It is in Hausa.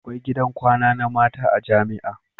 Akwai gidan kwana na mata a jamia